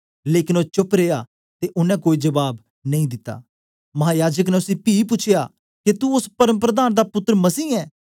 लेकन ओ चुप रिया ते ओनें कोई जबाब नेई दिता महायाजक ने उसी पी पूछया के तू ओस परमप्रधान दा पुत्तर मसीह ऐ